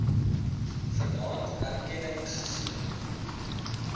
vanaand erkenning gegee